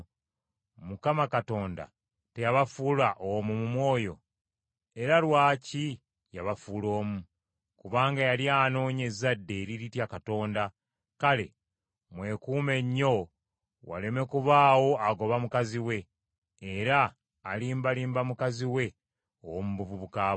Katonda teyabafuula omu mu mwoyo? Era lwaki yabafuula omu? Kubanga yali anoonya ezzadde eriritya Katonda. Kale mwekuume nnyo waleme kubaawo agoba mukazi we, era alimbalimba mukazi we ow’omu buvubuka bwe.